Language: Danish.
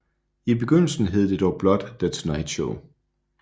I begyndelsen hed det dog blot The Tonight Show